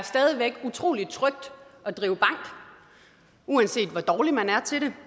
stadig væk er utrolig trygt at drive bank uanset hvor dårlig man er til det